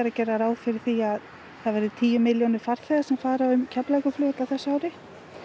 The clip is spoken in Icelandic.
að gera ráð fyrir því að það verði tíu milljónir farþega sem fari um Keflavíkurflugvöll á þessu ári